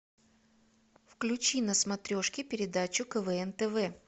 включи на смотрешке передачу квн тв